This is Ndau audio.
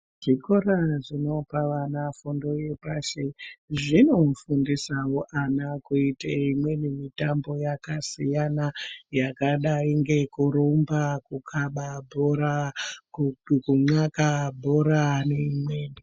Chikora chinopa ana fundo yepashi zvinofundisawo vana kuite imweni mitambo yakasiyana yakadai ngekukanda bhora, kunxlaka bhora, nekurumba neimweniwo.